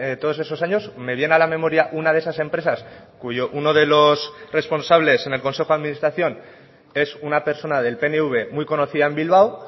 todos esos años me viene a la memoria una de esas empresas cuyo uno de los responsables en el consejo de administración es una persona del pnv muy conocida en bilbao